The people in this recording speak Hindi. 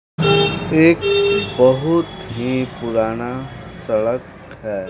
एक बहुत ही पुराना सड़क है।